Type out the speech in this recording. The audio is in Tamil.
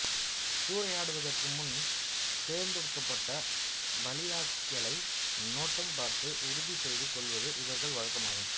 சூறையாடுவதற்கு முன் தேர்ந்தெடுக்கப்பட்ட பலியாட்களை நோட்டம் பார்த்து உறுதி செய்து கொள்வது இவர்கள் வழக்கம் ஆகும்